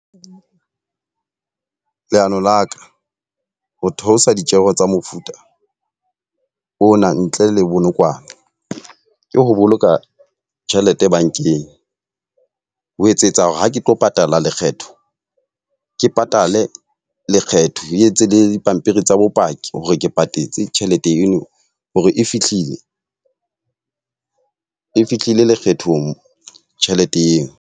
Leano la ka, ho theosa ditjeho tsa mofuta ona ntle le bonokwane. Ke ho boloka tjhelete bankeng. Ho etsetsa hore ha ke tlo patala lekgetho, ke patale lekgetho e etse le dipampiri tsa bopaki hore ke patetse tjhelete eno hore e fihlile. E fihlile lekgethong tjhelete eo.